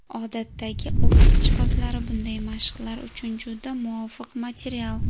Odatdagi ofis jihozlari bunday mashqlar uchun juda muvofiq material.